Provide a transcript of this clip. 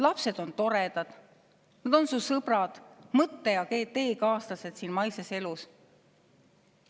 Lapsed on toredad, nad on su sõbrad, mõtte- ja teekaaslased siin maises elus.